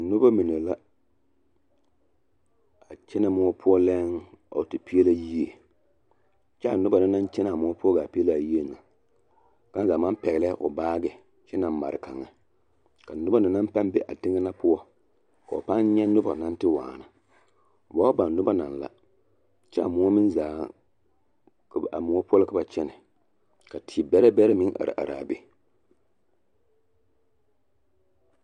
Noba mine la a kyɛnɛ moɔ poɔ lɛɛn a wa te peɛlɛ yie kyɛ a noba na naŋ kyɛnɛ a moɔ poɔ gaa peɛlɛ a yie na kaŋa zaa maŋ pɛgelɛɛ o baagi kyɛ naŋ mare kaŋa, ka noba na naŋ pãã be a teŋɛ na poɔ k'o pãã nyɛ noba naŋ te waana ba ba baŋ noba naŋ la, kyɛ a moɔ meŋ zaaŋ a moɔ poɔ la ka ba kyɛnɛ ka te bɛrɛ bɛrɛ meŋ araa be.